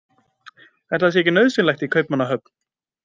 Ætli það sé ekki nauðsynlegt í Kaupmannahöfn?